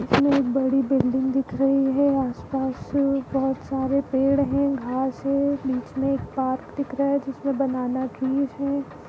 इसमें एक बड़ी बिल्डिंग दिख रही हैं आस पास बहुत सारे पेड़ हैं घास है बिच में एक पार्क दिख रहा है जिसमें बनना ट्रीज हैं ।